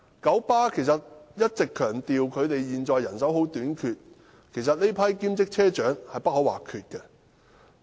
九巴一直強調現時人手短缺，其實這群車長是不可或缺的。